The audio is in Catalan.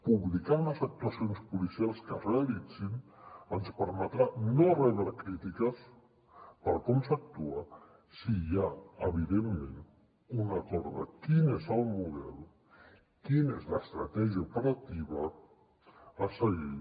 publicar les actuacions policials que es realitzin ens permetrà no rebre crítiques per com s’actua si hi ha evidentment un acord de quin és el model quina és l’estratègia operativa a seguir